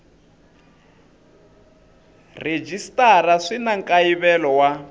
rhejisitara swi na nkayivelo wa